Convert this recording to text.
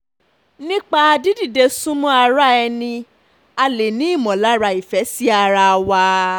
nípa dídìde súnmọ́ ara ẹni a lè ní ìmọ̀lára ìfẹ́ sí ara wa